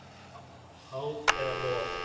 Háð eða lof?